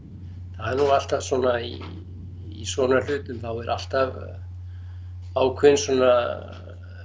það er nú alltaf í svona hlutum þá er alltaf ákveðinn svona